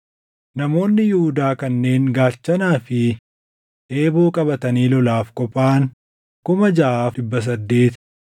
Namoonni Yihuudaa kanneen gaachanaa fi eeboo qabatanii lolaaf qophaaʼan 6,800;